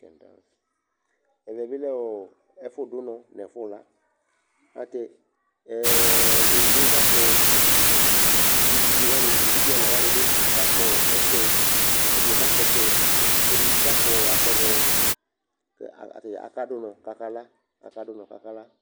Ɛvɛ bɩ lɛ ɔ ɛfʋdʋ ʋnɔ nʋ ɛfʋla Ayɛlʋtɛ ɛ ɛ yovo yɛ kakpɔ adule kʋ evidze wanɩ, evidze ɛla wanɩ bɩ kakpɔ ɔ ɔtsɛ Ɛdɩnɩ kakpɔ ɔtsɛ kʋ ɛdɩ bɩ kakpɔ asɔgɔ kʋ e ata dza akadʋ ʋnɔ kʋ akala, akadʋ ʋnɔ kʋ akala